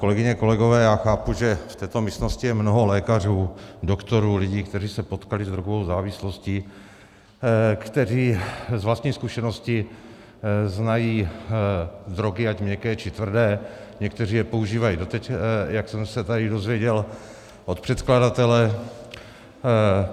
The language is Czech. Kolegyně, kolegové, já chápu, že v této místnosti je mnoho lékařů, doktorů, lidí, kteří se potkali s drogovou závislostí, kteří z vlastní zkušenosti znají drogy, ať měkké, či tvrdé, někteří je používají doteď, jak jsem se tady dozvěděl od předkladatele.